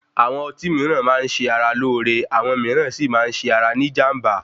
Àwọn ọtí mìíràn máa ń ṣe ara lóore, àwọn mìíràn Si máa ń ṣe ara ní ìjànbá.